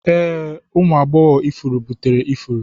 Ee, ụmụ agbọghọ ifuru buteri ifuru.